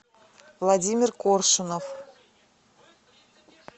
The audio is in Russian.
владимир коршунов